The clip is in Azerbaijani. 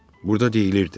Burda deyilirdi: